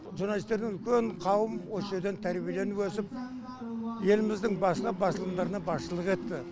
журналистердің үлкен қауым осы жерден тәрбиеленіп өсіп еліміздің басқа басылымдарына басшылық етті